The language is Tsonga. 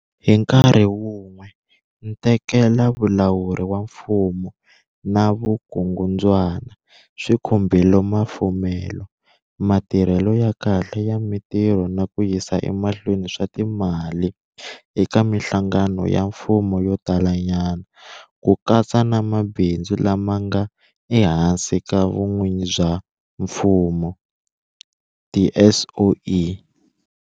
Hi nkarhi wun'we, ntekelavulawuri wa mfumo na vukungundzwana swi khumbile mafumelo, matirhelo ya kahle ya mitirho na ku yisa emahlweni swa timali eka mihlangano ya mfumo yo tala nyana, ku katsa na mabindzu lama nga ehansi ka vun'wini bya mfumo, tiSOE.